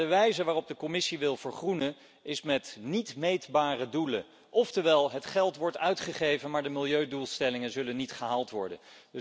Maar de wijze waarop de Commissie wil vergroenen is met niet meetbare doelen, oftewel het geld wordt uitgegeven, maar de milieudoelstellingen zullen niet gehaald worden.